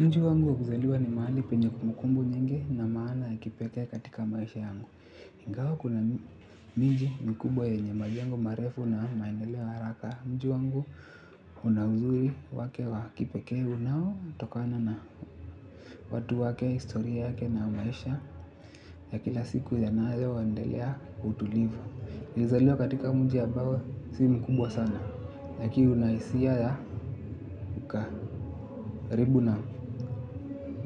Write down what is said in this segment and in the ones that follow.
Mji wangu wa kuzaliwa ni mahali penye kumbukumbu nyinge na maana ya kipekee katika maisha yangu. Ingawa kuna miji mikubwa yenye majengo marefu na maendeleo ya haraka. Mji wangu una uzuri wake wa kipekee unaotokana na watu wake, historia yake na maisha ya kila siku yanayoendelea kwa utulivu. Nilizaliwa katika mji ambao si mkubwa sana. Lakini una hisia ya ukaribu na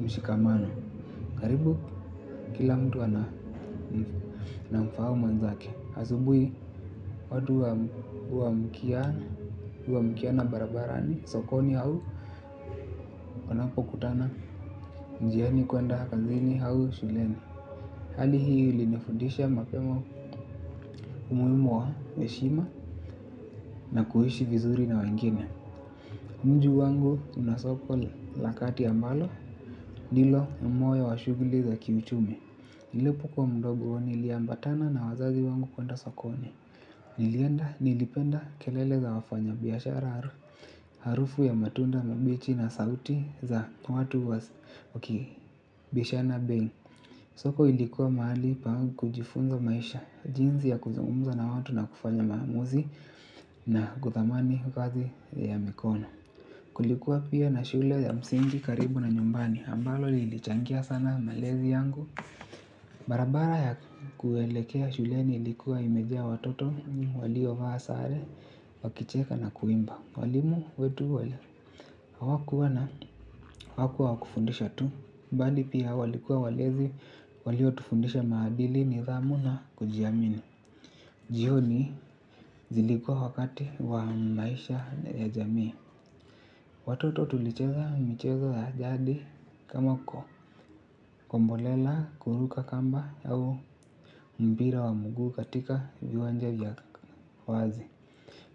mshikamano karibu kila mtu anamfahamu mwenzake asubuhi watu huamkia huamkiana barabarani sokoni au wanapokutana njiani kuenda kazini au shuleni. Hali hii ilinifudisha mapema umuhimu wa heshima na kuishi vizuri na wengine. Mji wangu una soko la kati ambalo nilo wa moyo wa shughuli za kiuchumi. Nilipokuwa mdogo niliambatana na wazazi wangu kwenda sokoni. Nilienda nilipenda kelele za wafanyabiashara harufu ya matunda mabichi na sauti za watu wakibishana bei. Soko ilikuwa mahali pangu kujifunza maisha. Jinsi ya kuzungumza na watu na kufanya maamuzi na kuthamani kazi ya mikono. Kulikuwa pia na shule ya msingi karibu na nyumbani, ambalo lilichangia sana malezi yangu. Barabara ya kuelekea shule ilikuwa imejaa watoto, waliovaa sare, wakicheka na kuimba. Walimu wetu wali, hawakuwa na hawakuwa wa kufundisha tu. Mbali pia walikuwa walezi, waliotufundisha maadili, nidhamu na kujiamini. Jioni zilikuwa wakati wa maisha ya jamii. Watoto tulicheza michezo ya jadi kama kombolela kuruka kamba yao mpira wa mguu katika viwanja vya wazi.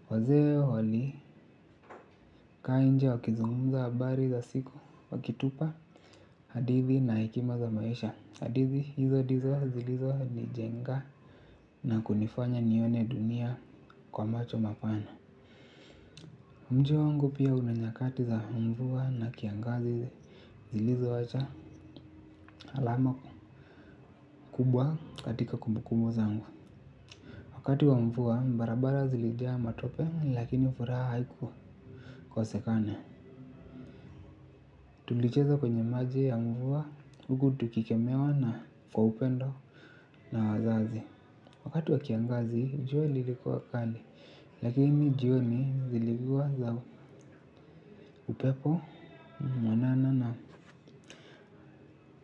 Wazee walikaa nje wakizungumza habari za siku wakitupa hadithi na hekima za maisha. Hadithi hizo ndizo zilizonijenga na kunifanya nione dunia kwa macho mapana. Mji wangu pia una nyakati za mvua na kiangazi zilizowacha alama kubwa katika kumbukumbu zangu. Wakati wa mvua barabara zilijaa matope lakini furaha haikukosekana. Tulicheza kwenye maji ya mvua huku tukikemewa na kwa upendo na wazazi. Wakati wa kiangazi jua lilikuwa kali. Lakini jioni zilikuwa za upepo mwanana na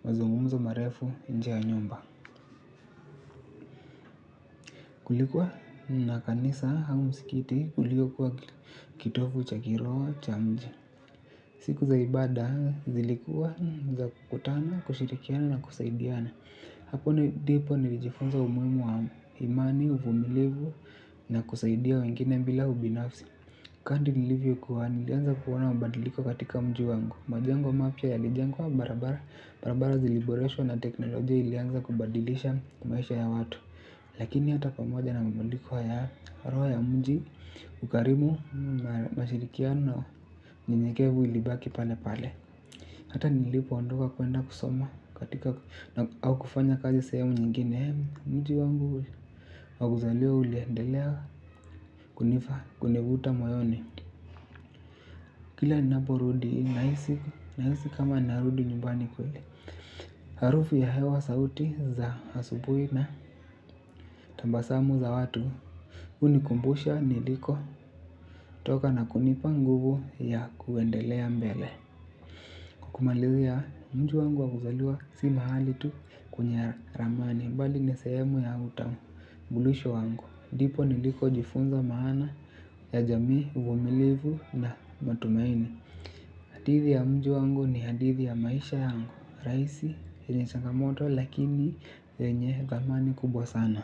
mazungumzo marefu nje ya nyumba. Kulikuwa na kanisa au msikiti uliokuwa kitovu cha kiroho cha mji. Siku za ibada zilikuwa za kukutana, kushirikiana na kusaidiana. Hapo ndipo nilijifunza umuhimu wa imani, uvumilivu na kusaidia wengine bila ubinafsi. Kadri nilivyokuwa nilianza kuona mabadiliko katika mji wangu. Majengo mapya yalijengwa barabara. Barabara ziliboreshwa na teknolojia ilianza kubadilisha maisha ya watu. Lakini hata pamoja na mabadiliko haya roha ya mji ukarimu mashirikiano nyenyekevu ilibaki pale pale. Hata nilipoondoka kuenda kusoma katika au kufanya kazi sehemu nyingine. Mji wangu wa kuzaliwa uliendelea kunifa kunivuta moyoni. Kila ninaporudi nahisi. Nahisi kama narudi nyumbani kule. Harufu ya hewa sauti za asubuhi na tabasamu za watu hunikumbusha nilikotoka na kunipa nguvu ya kuendelea mbele kwa kumalizia mji wangu wa kuzaliwa si mahali tu kwenye ramani bali ni sehemu ya utambulisho wangu ndipo nilikojifunza maana ya jamii uvumilivu na matumaini. Hadithi ya mji wangu ni hadithi ya maisha yangu. Rahisi yenye changamoto lakini yenye thamani kubwa sana.